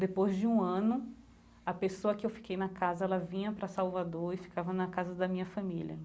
Depois de um ano, a pessoa que eu fiquei na casa, ela vinha para Salvador e ficava na casa da minha família.